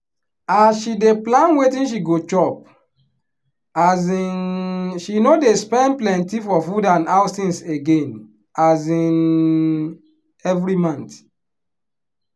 as she dey plan wetin she go chop um she no dey spend plenty for food and house things again um every month.